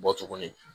Bɔ tuguni